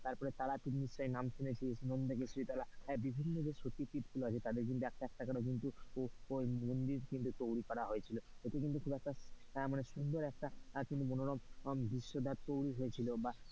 তারপর তারাপীঠ নিশ্চয়ই নাম শুনেছিস বিভিন্ন যে সতী পীঠ গুলো আছে, একটা একটা করে ওই মন্দির কিন্তু তৈরি করা হয়েছিল। এটা কিন্তু খুব সুন্দর একটা মনোরম পরিবেশ তৈরী হয়েছিলো,